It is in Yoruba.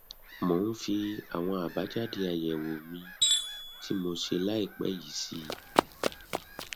mo ń fi àwọn abajade ayewo mi tí mo ṣe ĺàìpẹ yìí sí i